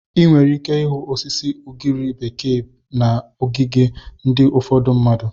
Ị nwere ike ịhụ osisi ugiri bekee bekee na ogige ndị ufodu mmadụ.